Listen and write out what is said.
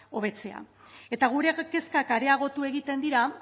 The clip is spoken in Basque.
hobetzea eta gure kezkak areagotu egiten dira